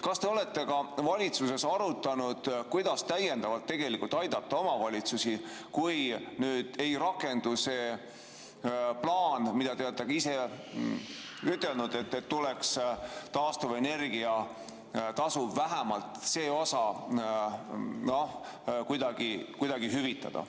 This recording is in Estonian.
Kas te olete valitsuses arutanud, kuidas täiendavalt aidata omavalitsusi, kui nüüd ei rakendu see plaan, millest te olete ka ise rääkinud, et tuleks taastuvenergia tasu vähemalt see osa kuidagi hüvitada?